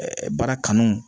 baara kanu